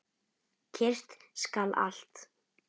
Kyrrt skal allt.